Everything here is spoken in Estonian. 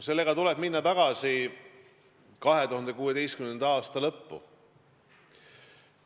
Selles asjas tuleb minna tagasi 2016. aasta lõppu.